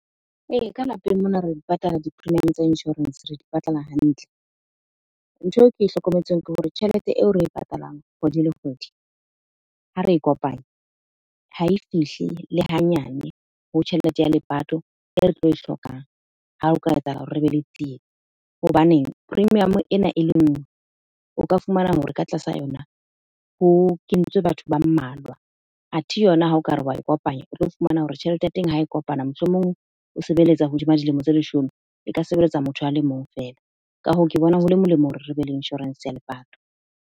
Ee, ka lapeng mona re di patala di-premium tsa insurance. Re di patala hantle. Ntho eo ke hlokometseng ke hore tjhelete eo re e patalang kgwedi le kgwedi. Ha re Kopanya, ha e fihle le hanyane ho tjhelete ya lepato e re tlo e hlokang. Ha o ka etsahala hore re be le tsietsi. Hobaneng, premium ena e le nngwe, o ka fumana hore ka tlasa yona ho kentswe batho ba mmalwa. Athe yona ha okare wa e kopanya, o tlo fumana hore tjhelete ya teng ha e kopana. Mohlomong o sebeletsa hodima dilemo tse leshome, e ka sebeletsa motho a le mong fela. Ka hoo, ke bona hole molemo hore re be le insurance ya lepato.